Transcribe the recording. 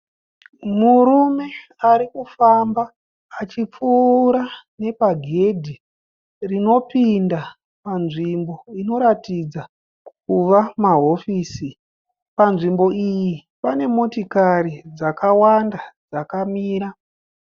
Murume arikufamba achipfuura ne pagedhi rinopinda panzvimbo inoratidza kuva mahofisi. Panzvimbo iyi pane motokari dzakawanda dzakamira.